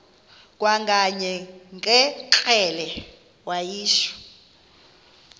kwakanye ngekrele wayishu